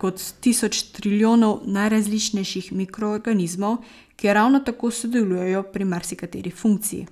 kot tisoč trilijonov najrazličnejših mikroorganizmov, ki ravno tako sodelujejo pri marsikateri funkciji.